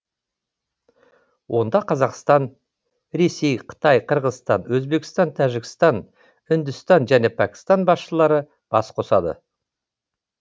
онда қазақстан ресей қытай қырғызстан өзбекстан тәжікстан үндістан және пәкістан басшылары бас қосады